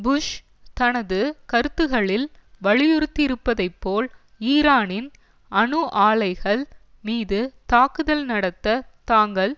push தனது கருத்துகளில் வலியுறுத்தியிருப்பதைப்போல் ஈரானின் அணு ஆலைகள் மீது தாக்குதல் நடத்த தாங்கள்